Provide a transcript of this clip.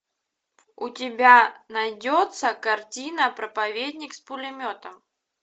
у тебя найдется картина проповедник с пулеметом